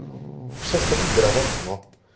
ээ все остальные города дно